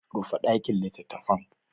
Rufe dakin litattafan!